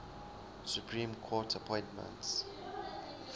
supreme court appointments